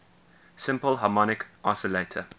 simple harmonic oscillator